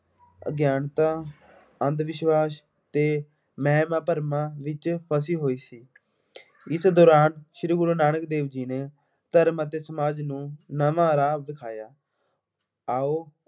ਅਗਿਆਨਤਾ, ਅੰਧ-ਵਿਸ਼ਵਾਸ਼ ਤੇ ਵਹਿਮਾਂ ਭਰਮਾਂ ਵਿੱਚ ਫਸੀ ਹੋਈ ਸੀ। ਇਸ ਦੌਰਾਨ ਸ਼੍ਰੀ ਗੁਰੂ ਨਾਨਕ ਦੇਵ ਜੀ ਨੇ ਧਰਮ ਅਤੇ ਸਮਾਜ ਨੂੰ ਨਵਾਂ ਰਾਹ ਵਿਖਾਇਆ। ਆਉ